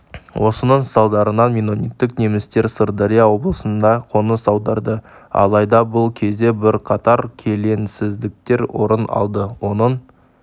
осының салдарынан меннониттік немістер сырдария облысына қоныс аударды алайда бұл кезде бірқатар келеңсіздіктер орын алды оның